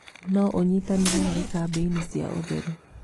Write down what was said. No ũnyitanĩre harĩ kambeini cia ũtheru.